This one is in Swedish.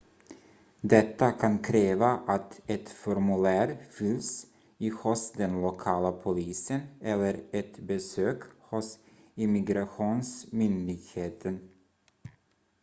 detta kan kräva att ett formulär fylls i hos den lokala polisen eller ett besök hos immigrationsmyndigheten